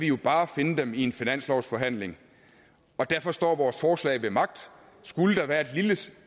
jo bare finde dem i en finanslovsforhandling og derfor står vores forslag ved magt skulle der være